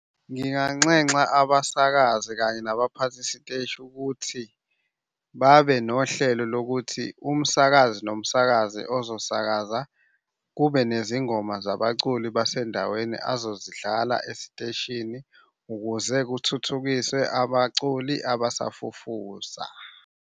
Nginganxenxa abasakazi kanye nabaphathi siteshi ukuthi babe nohlelo lokuthi umsakazi nomsakazi ozosakaza kube nezingoma zabaculi basendaweni azozidlala esiteshini ukuze kuthuthukiswe abaculi abasafufusa.